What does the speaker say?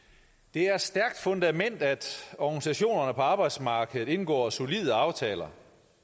det er et stærkt fundament at organisationerne på arbejdsmarkedet indgår solide aftaler